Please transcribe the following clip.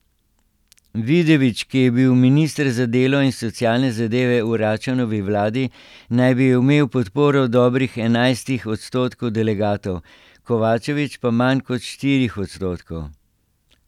Vidović, ki je bil minister za delo in socialne zadeve v Račanovi vladi, naj bi imel podporo dobrih enajstih odstotkov delegatov, Kovačević pa manj kot štirih odstotkov.